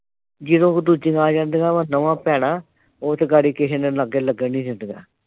ਜਦੋਂ ਉਹ ਦੂਜੀਆਂ ਆ ਜਾਂਦੀਆਂ ਵਾਂ ਦੋਵਾਂ ਭੈਣਾਂ ਉਹ ਤਾਂ ਅਗਾੜੀ ਕਿਸੇ ਨੂੰ ਲਾਗੇ ਲੱਗਣ ਨਈਂ ਦਿੰਦੀਆਂ।